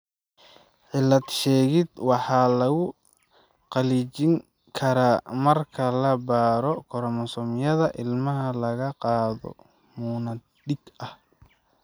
Cilad-sheegid waxaa lagu xaqiijin karaa marka la baaro koromosoomyada ilmaha laga qaado muunad dhiig ah.